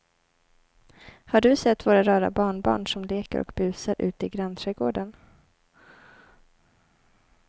Har du sett våra rara barnbarn som leker och busar ute i grannträdgården!